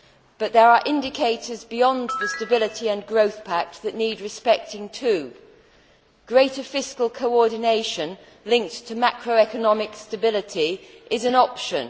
But there are indicators beyond the Stability and Growth Pact that need respecting too. Greater fiscal coordination linked to macro economic stability is an option.